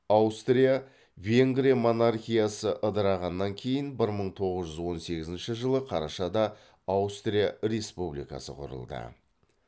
аустрия венгрия монархиясы ыдырағаннан кейін бір мың тоғыз жүз он сегізінші жылы карашада аустрия республикасы құрылды